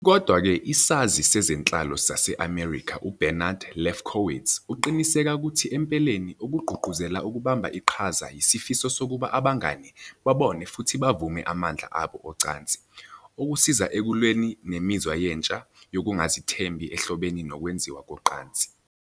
Kodwa-ke, isazi sezenhlalo saseMelika uBernard Lefkowitz uqinisekisa ukuthi empeleni okugqugquzela ukubamba iqhaza yisifiso sokuba abangane babone futhi bavume amandla abo ocansi, okusiza ekulweni nemizwa yentsha yokungazethembi ehlobene nokwenziwa kocansi.